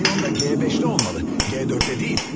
Piyonda G5-də olmalı, G4-də deyil.